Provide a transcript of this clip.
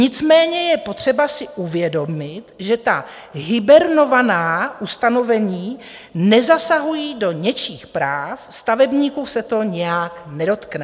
Nicméně je potřeba si uvědomit, že ta hibernovaná ustanovení nezasahují do něčích práv, stavebníků se to nijak nedotkne.